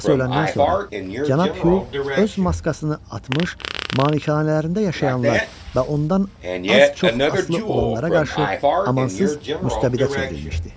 Atası öləndən sonra Cənab Hu öz maskasını atmış, manikanələrində yaşayanlar və ondan az-çox asılı olanlara qarşı amansız müstəbidə çevrilmişdi.